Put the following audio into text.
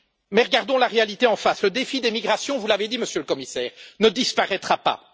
Mais regardons la réalité en face, le défi des migrations vous l'avez dit, Monsieur le Commissaire ne disparaîtra pas.